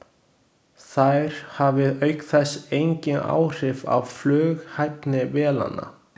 Þær hafi auk þess engin áhrif á flughæfni vélanna.